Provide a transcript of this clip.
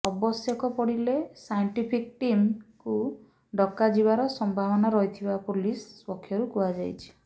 ଆବଶ୍ୟକ ପଡିଲେ ସାଇଣ୍ଟିଫିକ୍ ଟିମ୍କୁ ଡକାଯିବାର ସମ୍ଭାବନା ରହିଥିବା ପୋଲିସ ପକ୍ଷରୁ କୁହାଯାଇଛି